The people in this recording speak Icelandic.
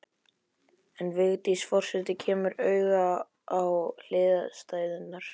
En Vigdís forseti kemur auga á hliðstæðurnar.